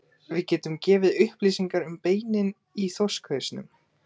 Við getum gefið upplýsingar um beinin í þorskhausnum.